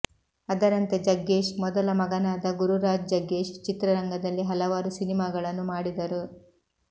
ಅದರಂತೆ ಜಗ್ಗೇಶ್ ಮೊದಲ ಮಗನಾದ ಗುರುರಾಜ್ ಜಗ್ಗೇಶ್ ಚಿತ್ರರಂಗದಲ್ಲಿ ಹಲವಾರು ಸಿನಿಮಾಗಳನ್ನು ಮಾಡಿದರು